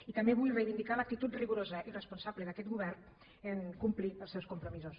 i també vull reivindicar l’actitud rigorosa i responsable d’aquesta govern a complir els seus compromisos